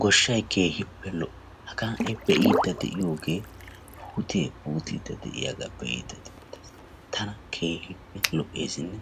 Goshshay keehippe lo'o. Hagaa hai beidi de'iyoge puute puutidi de'iyaga be'idi deetes. Tana keehippe lo'esine